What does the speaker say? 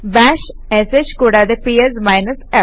bash ഷ് കൂടാതെ PS f